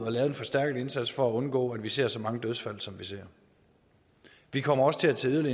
at lave en forstærket indsats for at undgå at vi ser så mange dødsfald som vi ser vi kommer også til at tage